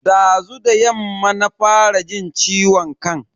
Dazu da yamma na fara jin ciwon kan.